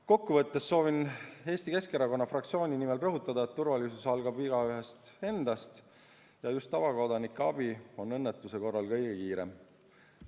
Kokkuvõtteks soovin Eesti Keskerakonna fraktsiooni nimel rõhutada, et turvalisus algab igaühest endast ja just tavakodanike abi on õnnetuse korral kõige kiirem.